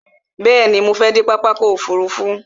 Bẹ̀ẹ̀ni, mo fẹ dé pápá ọkò òfurufú.